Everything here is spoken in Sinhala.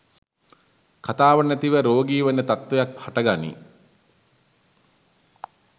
කථාව නැතිව රෝගී වන තත්ත්වයක් හටගනී